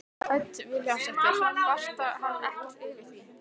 Hödd Vilhjálmsdóttir: Kvarta hann ekkert yfir því?